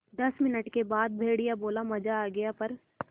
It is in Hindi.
दस मिनट के बाद भेड़िया बोला मज़ा आ गया प्